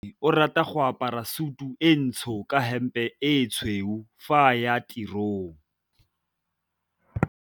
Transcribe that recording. Onkabetse o rata go apara sutu e ntsho ka hempe e tshweu fa a ya tirong.